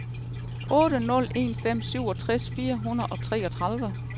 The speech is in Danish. otte nul en fem syvogtres fire hundrede og treogtredive